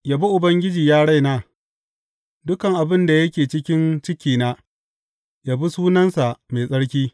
Yabi Ubangiji, ya raina; dukan abin da yake cikin cikina, yabi sunansa mai tsarki.